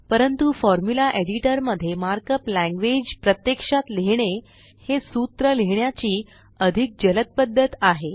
परंतु formula editor मध्ये markup language प्रत्यक्षात लिहीणे हे सूत्र लिहिण्याची अधिक जलद पद्धत आहे